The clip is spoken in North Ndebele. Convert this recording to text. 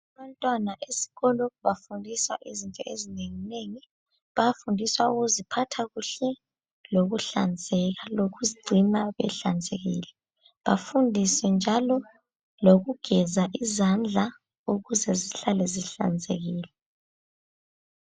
Abantwana besikolo bafundiswa izinto ezinenginengi. Bayafundiswa ukuziphatha kuhle, lokuhlanzeka lokuzigcina behlanzekile. Bafundiswe njalo lokugeza izandla ukuze zihlale zihlanzekile.